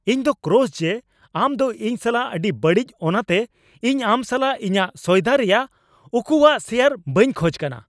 ᱤᱧ ᱫᱚ ᱠᱨᱚᱥ ᱡᱮ ᱟᱢ ᱫᱚ ᱤᱧ ᱥᱟᱞᱟᱜ ᱟᱹᱰᱤ ᱵᱟᱹᱲᱤᱡ ᱚᱱᱟᱛᱮ ᱤᱧ ᱟᱢ ᱥᱟᱞᱟᱜ ᱤᱧᱟᱹᱜ ᱥᱚᱭᱫᱟ ᱨᱮᱭᱟᱜ ᱩᱠᱩᱣᱟᱜ ᱥᱮᱭᱟᱨ ᱵᱟᱹᱧ ᱠᱷᱚᱡ ᱠᱟᱱᱟ ᱾